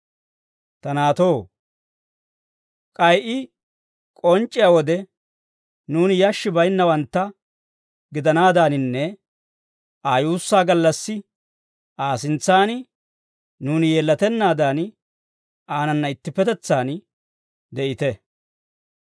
Ta naatoo, k'ay I k'onc'c'iyaa wode, nuuni yashshi bayinnawantta gidanaadaaninne, Aa yuussaa gallassi Aa sintsan nuuni yeellatennaadan, aanana ittippetetsaan de'ite.